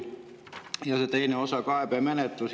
Ja teine osa – kaebemenetlus.